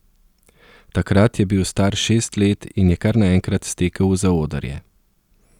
Takrat je bil star šest let in je kar naenkrat stekel v zaodrje.